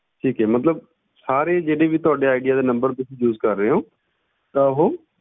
ਠੀਕ ਹੈ ਮਤਲਬ ਸਾਰੇ ਜਿਹੜੇ ਵੀ ਤੁਹਾਡੇ ਆਈਡੀਆ ਦੇ number ਤੁਸੀਂ use ਕਰ ਰਹੇ ਹੋ ਤਾਂ ਉਹ,